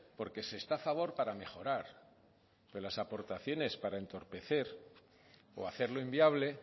porque se está a favor para mejorar pero las aportaciones para entorpecer o hacerlo inviable